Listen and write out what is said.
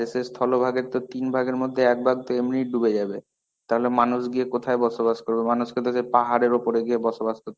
সে স্থলভাগের তো তিন ভাগের মধ্যে এক ভাগ তো এমনই ডুবে যাবে. তাহলে মানুষ গিয়ে কোথায় গিয়ে বসবাস করবে? মানুষ কে তো সেই পাহাড়ের উপরে গিয়ে বসবাস করতে হবে.